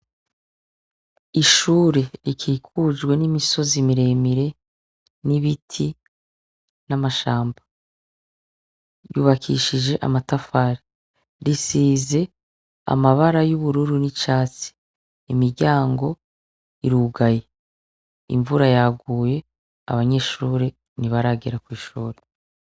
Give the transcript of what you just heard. Ishure rikikujwe n'imisozi miremire n'ibiti n'amashamba yubakishije amatafari risize amabara y'ubururu n'icatsi imiryango irugaye imvura yaguye abanyishure nti baragera kw'ishure.